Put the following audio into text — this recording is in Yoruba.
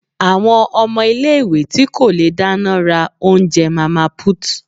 àwọn ọmọ ìlé-ìwé ti ko le daná, ra oúnjẹ 'mama put''